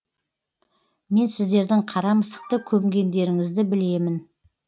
мен сіздердің қара мысықты көмгендеріңізді білемін